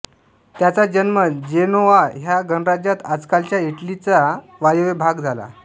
त्याचा जन्म जेनोआ ह्या गणराज्यात आजकालच्या इटलीचा वायव्य भाग झाला